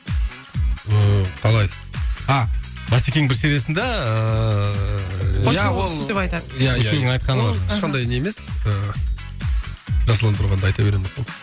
ыыы қалай а бәсекенің бір сериясында ыыы ешқандай не емес ыыы жасұлан тұрғанда айта береміз ғой